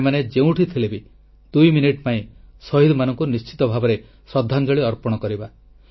ଆମେମାନେ ଯେଉଁଠି ଥିଲେ ବି ଦୁଇ ମିନିଟ୍ ପାଇଁ ଶହୀଦମାନଙ୍କୁ ନିଶ୍ଚିତ ଭାବରେ ଶ୍ରଦ୍ଧାଞ୍ଜଳି ଅର୍ପଣ କରିବା